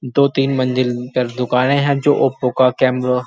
दो तीन मंजिल ऊपर दुकाने हैं जो ओप्पो की कैमरा --